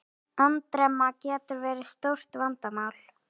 Andremma getur verið stórt vandamál.